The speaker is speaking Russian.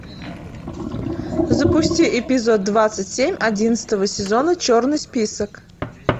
запусти эпизод двадцать семь одиннадцатого сезона черный список